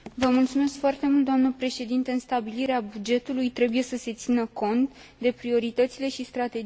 În stabilirea bugetului trebuie să se țină cont de prioritățile și strategiile pe termen lung.